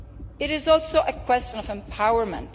It is also a question of empowerment.